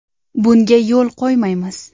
Bunga yo‘l qo‘ymaymiz.